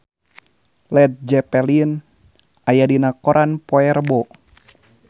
Led Zeppelin aya dina koran poe Rebo